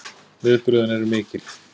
Viðbrögðin eru mikil